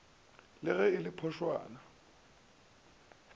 le ge e le phošwana